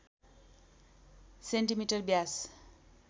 centimetre Vyas